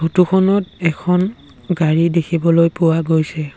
ফটোখনত এখন গাড়ী দেখিবলৈ পোৱা গৈছে।